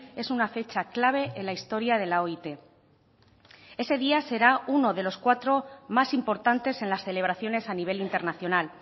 es una fecha clave en la historia de la oit ese día será uno de los cuatro más importantes en las celebraciones a nivel internacional